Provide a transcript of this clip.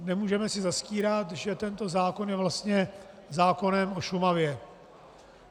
Nemůžeme si zastírat, že tento zákon je vlastně zákonem o Šumavě.